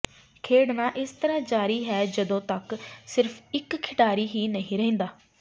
ਖੇਡਣਾ ਇਸ ਤਰ੍ਹਾਂ ਜਾਰੀ ਹੈ ਜਦੋਂ ਤੱਕ ਸਿਰਫ ਇੱਕ ਖਿਡਾਰੀ ਹੀ ਨਹੀਂ ਰਹਿੰਦਾ